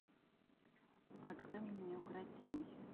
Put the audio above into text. открой мне неукротимый